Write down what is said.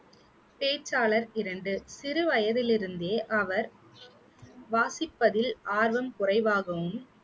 பேச்சாளர் இரண்டு, சிறுவயதிலிருந்தே அவர் வாசிப்பதில் ஆர்வம் குறைவாகவும்